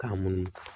K'a munumunu